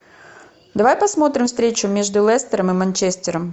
давай посмотрим встречу между лестером и манчестером